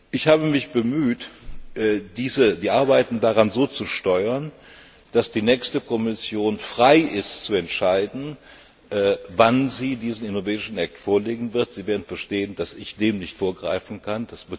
Ich habe mich bemüht, die Arbeiten daran so zu steuern, dass die nächste Kommission frei ist zu entscheiden, wann sie diesen Innovation Act vorlegen wird. Sie werden verstehen, dass ich dem nicht vorgreifen kann.